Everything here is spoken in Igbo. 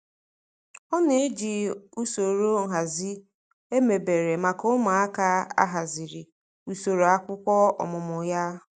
Ọ na-eji usoro nhazi emebere maka ụmụakwụkwọ ahazi usoro akwụkwọ ọmụmụ ya.